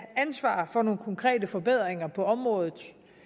ansvaret for nogle konkrete forbedringer på området